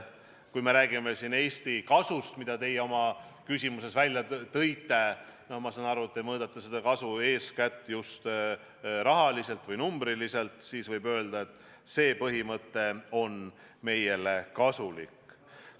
Kui räägime siin Eesti kasust, mida te oma küsimuses välja tõite – ma saan aru, et te mõõdate seda kasu eeskätt rahaliselt või numbriliselt –, siis võib öelda, et see põhimõte on meile kasulik.